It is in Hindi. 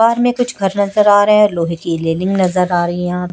में कुछ घर नजर आ रहे हैं लोहे की रेलिंग नजर आ रही है यहां--